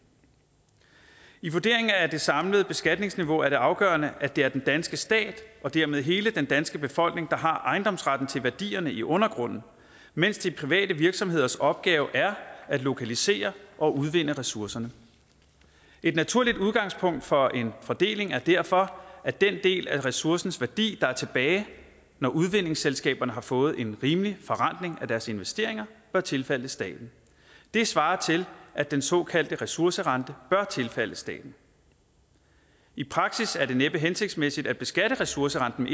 i vurderingen af det samlede beskatningsniveau er det afgørende at det er den danske stat og dermed hele den danske befolkning der har ejendomsretten til værdierne i undergrunden mens de private virksomheders opgave er at lokalisere og udvinde ressourcerne et naturligt udgangspunkt for en fordeling er derfor at den del af ressourcens værdi der er tilbage når udvindingsselskaberne har fået en rimelig forrentning af deres investeringer bør tilfalde staten det svarer til at den såkaldte ressourcerente bør tilfalde staten i praksis er det næppe hensigtsmæssigt at beskatte ressourcerenten